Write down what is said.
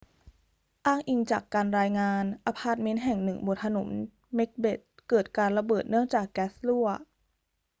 อ้างอิงจากการรายงาน อพาร์ทเมนต์แห่งหนึ่งบนถนนเม็กเบธเกิดการระเบิดเนื่องจากแก๊สรั่ว